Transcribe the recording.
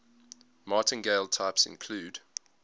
martingale types include